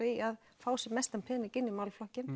í að fá sem mestan pening inn í málaflokkinn